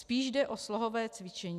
Spíš jde o slohové cvičení.